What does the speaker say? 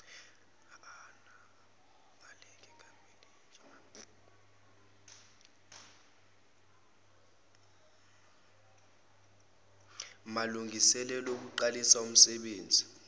malungiselelo okuqalisa umsenbenzi